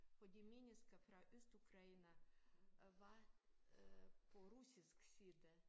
For de mennesker fra Østukraine øh var øh på russisk side